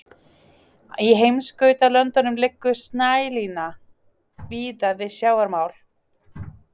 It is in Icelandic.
Í heimskautalöndum liggur snælína víða við sjávarmál.